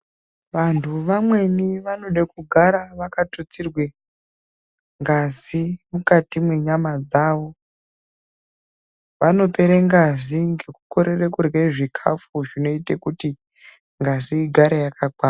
Vantu vamweni vanoda kugara vakatutsirwa ngazi mukati mwenyama dzawo. Vanopere ngazi yavo ngekukorere kurye zvikafu zvinoite kuti ngazi igare yakakwana.